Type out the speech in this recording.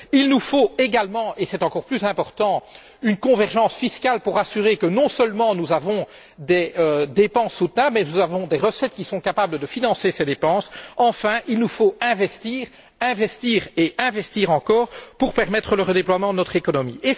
Il nous faut également, et c'est encore plus important, une convergence fiscale pour assurer que, non seulement, nous avons des dépenses soutenables mais que nous avons des recettes qui sont capables de financer ces dépenses. Enfin, il nous faut investir, investir et investir encore pour permettre le redéploiement de notre économie.